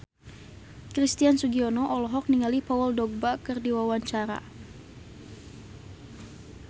Christian Sugiono olohok ningali Paul Dogba keur diwawancara